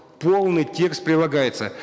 полный текст прилагается